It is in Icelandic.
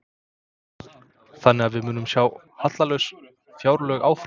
Þannig að við munum sjá hallalaus fjárlög áfram?